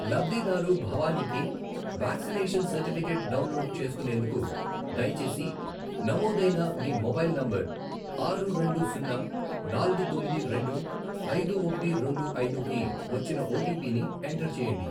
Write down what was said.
లబ్ధిదారు భవానికి vaccination certificate download చేసుకునేందుకు, దయచేసి నమోదైన మీ మొబైల్ నంబర్ ఆరు, రెండు, సున్నా, నాలుగు, తొమ్మిది, రెండు, ఐదు, ఒకటి, రెండు ఐదు, కి వచ్చిన ఓటీపీ ని ఎంటర్ చేయండి.